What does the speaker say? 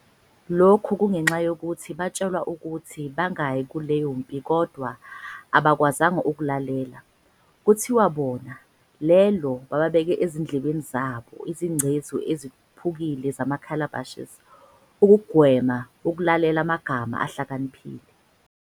Lokhu kungenxa yokuthi batshelwa ukuthi bangayi kuleyo mpi kodwa abakwazanga ukulalela. Kuthiwa bona, lelo, babeka ezindlebeni zabo, izingcezu eziphukile zama-calabashes, ukugwema ukulalela amagama ahlakaniphile we-.